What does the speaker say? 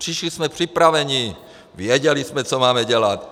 Přišli jsme připraveni, věděli jsme, co máme dělat.